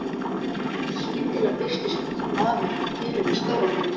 Skyndilega birtist maður í dyrunum með stóran hund.